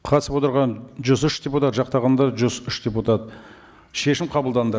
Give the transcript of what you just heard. қатысып отырған жүз үш депутат жақтағандар жүз үш депутат шешім қабылданды